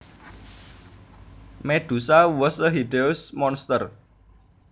Medusa was a hideous monster